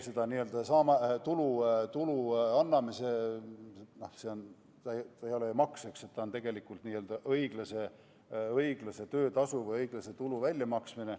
See ei ole ju maks, eks, vaid on tegelikult õiglase töötasu või õiglase tulu väljamaksmine.